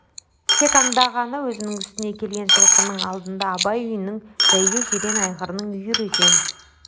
тек аңдағаны өзінің үстіне келген жылқының алдында абай үйінің бәйге жирен айғырының үйірі екен